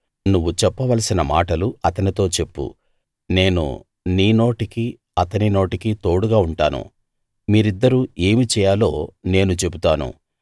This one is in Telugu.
నువ్వు చెప్పవలసిన మాటలు అతనితో చెప్పు నేను నీ నోటికీ అతని నోటికీ తోడుగా ఉంటాను మీరిద్దరూ ఏమి చేయాలో నేను చెబుతాను